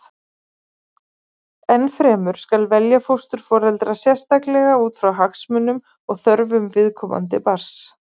Enn fremur skal velja fósturforeldra sérstaklega út frá hagsmunum og þörfum viðkomandi barns.